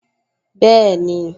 Bẹ́ẹ̀ni